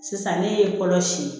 Sisan ne ye kɔlɔsi